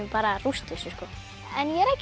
rústa þessu en ég er ekki